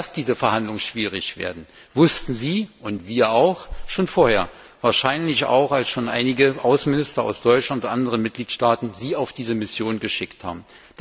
Dass diese Verhandlungen schwierig werden, wussten Sie und wir auch schon vorher, wahrscheinlich auch schon als einige Außenminister aus Deutschland und anderen Mitgliedstaaten Sie auf diese Mission geschickt haben.